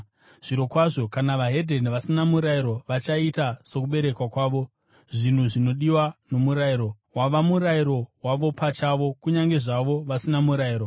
Zvirokwazvo, kana veDzimwe Ndudzi, vasina murayiro vachiita sokuberekwa kwavo zvinhu zvinodiwa nomurayiro, wava murayiro wavo pachavo kunyange zvazvo vasina murayiro.